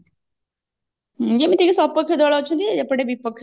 ଯେମତିକି ସପକ୍ଷ ଦଳ ଅଛନ୍ତି ଆଉ ଏପଟେ ବିପକ୍ଷ